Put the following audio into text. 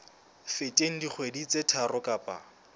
feteng dikgwedi tse tharo kapa